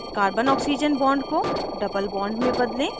carbonoxygen bond को double bond में बदलें